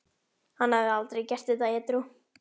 Hann hefði aldrei gert þetta edrú.